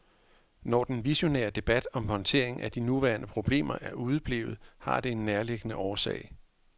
Når den visionære debat om håndtering af de nuværende problemer er udeblevet, har det en nærliggende årsag.